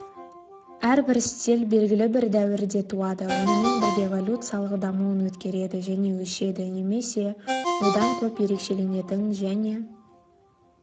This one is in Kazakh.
әрбір стиль белгілі бір дәуірде туады онымен бірге эволюциялық дамуын өткереді және өшеді немесе одан көп ерекшеленетін және